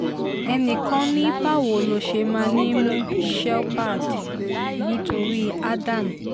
ẹnì kan ni báwo ló ṣe máa mú shepherd nítorí ádám